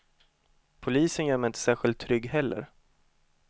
Polisen gör mig inte särskilt trygg heller.